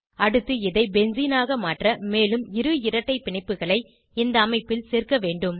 அடுத்து இதை பென்சீனாக மாற்ற மேலும் இரு இரட்டை பிணைப்புகளை இந்த அமைப்பில் சேர்க்க வேண்டும்